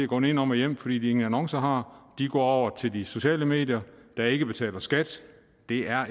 gå nedenom og hjem fordi de ingen annoncer har de går over til de sociale medier der ikke betaler skat det er